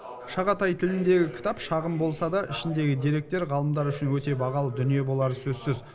шағатай тіліндегі кітап шағын болса да ішіндегі деректер ғалымдар үшін өте бағалы дүние болары сөзсіз